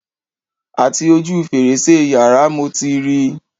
Àti ojú fèrèsé yàrá mo ti ri